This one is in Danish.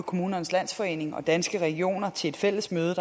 kommunernes landsforening og danske regioner til et fælles møde